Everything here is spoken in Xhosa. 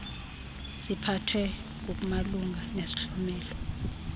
ziphathwe ngokumalunga nesihlomelo